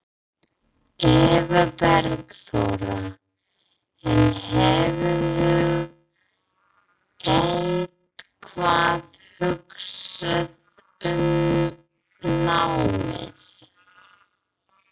Eva Bergþóra: En hefurðu eitthvað hugsað um námið?